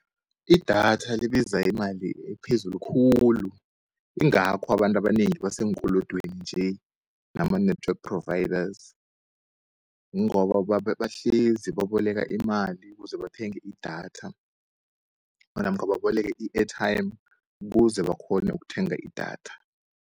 Idatha libiza imali ephezulu khulu, ingakho abantu abanengi baseenkolodweni nje nama network providers, ngoba bahlezi baboleka imali ukuze bathenge idatha namkha baboleke i-airtime ukuze bakghone ukuthenga idatha.